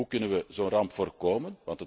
Hoe kunnen we zo'n ramp voorkomen?